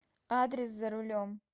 адрес за рулем